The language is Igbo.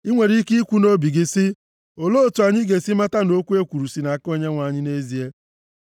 I nwere ike ikwu nʼobi gị sị, “Olee otu anyị ga-esi mata na okwu e kwuru si nʼaka Onyenwe anyị nʼezie?”